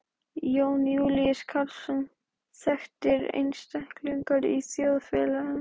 Jón Júlíus Karlsson: Þekktir einstaklingar í þjóðfélaginu?